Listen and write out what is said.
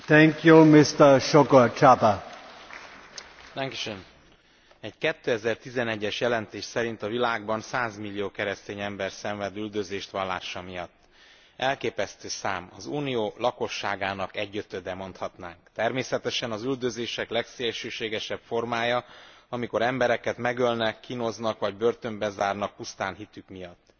Egy 2011 es jelentés szerint a világban százmillió keresztény ember szenved üldözést vallása miatt. Elképesztő szám, az Unió lakosságának egyötöde, mondatnám. Természetesen az üldözések legszélsőségesebb formája, amikor embereket megölnek, kínoznak vagy börtönbe zárnak pusztán hitük miatt.